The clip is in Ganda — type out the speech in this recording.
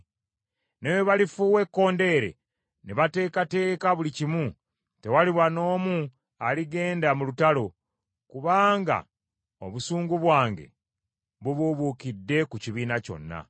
“ ‘Ne bwe balifuuwa ekkondeere ne bateekateeka buli kimu, tewaliba n’omu aligenda mu lutalo, kubanga obusungu bwange bubuubuukidde ku kibiina kyonna.